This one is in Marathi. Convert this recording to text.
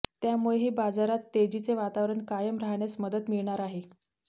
त्यामुळेही बाजारात तेजीचे वातावरण कायम राहण्यास मदत मिळणार आहे